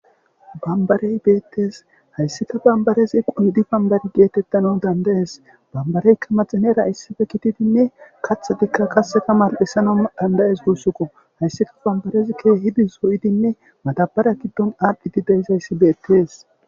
Bambarey beetes,haysika bambarezi qondi bambare getetanawu danda'es, bambareyka maxinera issippe gididinne kaxidika qase mali'isanawu danda'es guusuko, haysika bambarezi keehid zo'idinne Madara gidin adhid de'izasi betesi.